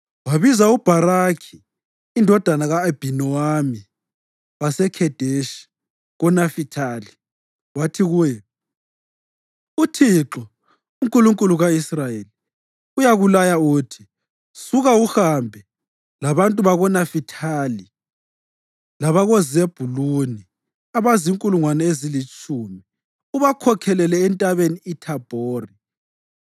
Wabiza uBharakhi indodana ka-Abhinowami waseKhedeshi koNafithali wathi kuye, “ UThixo, uNkulunkulu ka-Israyeli, uyakulaya uthi: ‘Suka, uhambe labantu bakoNafithali labakoZebhuluni abazinkulungwane ezilitshumi ubakhokhelele eNtabeni iThabhori.